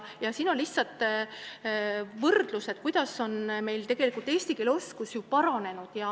Siin slaidil on näidatud, kuidas on eesti keele oskus paranenud.